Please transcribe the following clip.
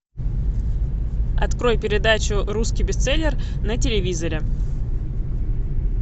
открой передачу русский бестселлер на телевизоре